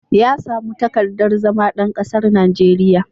Ya samu takardar zama ɗan kasar Najeriya.